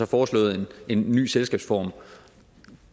foreslået en ny selskabsform og